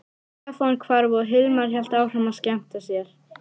Stefán hvarf og Hilmar hélt áfram að skemmta sér.